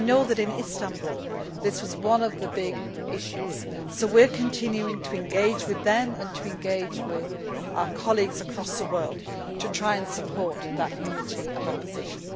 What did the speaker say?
I know that in Istanbul this was one of the big issues. So we are continuing to engage with them and with our colleagues across the world to try and support that unity of opposition.